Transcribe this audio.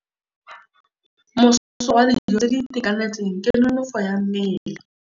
Mosola wa dijô tse di itekanetseng ke nonôfô ya mmele.